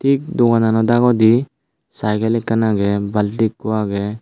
tik doganano dagodi saygel ekkan agey balti ikko agey.